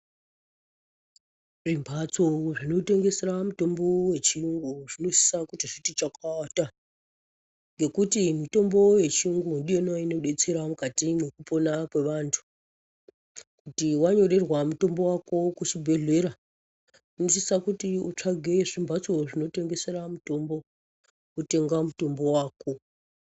Zvimbatso zvinotengesera mutombo wechiyungu zviniosisa kuti zviti chakata. Ngekuti mitombo yechiyungu ndiyona inodetsera mukati mwekupona kwevantu. Kuti wanyorerwa mutombo wako kuchibhehlera unosisa kuti utsvage zvimbatso zvinotengesera mutombo, wotenga mutombo wako.